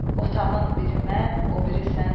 Otağın biri mən, o biri sənsən.